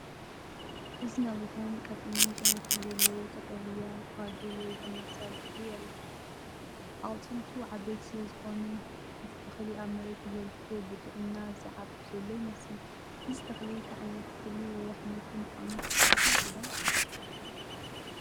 እዚ ነዊሕን ቀጢንን ጨናፍር ዘለዎ ቀጠልያ ፋጁል ወይ ተመሳሳሊ ተኽሊ የርኢ። ኣቝጽልቱ ዓበይቲ ስለ ዝዀኑ፡ እቲ ተኽሊ ኣብ መሬት ተዘርጊሑ ብጥዕና ዚዓቢ ዘሎ ይመስል። እዚ ተኽሊ እንታይ ዓይነት እኽሊ ወይ ኣሕምልቲ ምዃኑ ትፈልጡ ዶ?